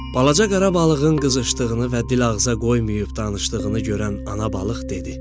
Balaca Qarabağlının qızışdığını və dil ağıza qoymayıb danışdığını görən ana balıq dedi: